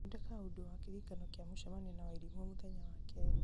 thondeka ũndũ wa kĩririkano kĩa mũcemanio na wairimũ mũthenya wa kerĩ